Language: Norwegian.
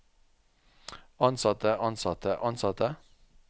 ansatte ansatte ansatte